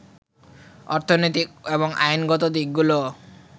অর্থনৈতিক এবং আইনগত দিকগুলো